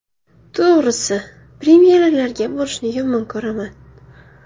To‘g‘risi, premyeralarga borishni yomon ko‘raman.